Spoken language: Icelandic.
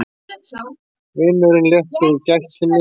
Vinurinn léttur í gættinni.